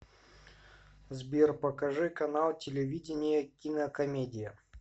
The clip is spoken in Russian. сбер покажи канал телевидения кинокомедия